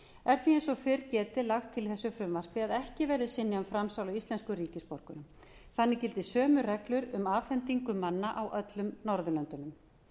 og fyrr er getið lagt til í þessu frumvarpi að ekki verði synjað um framsal á íslenskum ríkisborgurum þannig gildi sömu reglur um afhendingu manna á öllum norðurlöndunum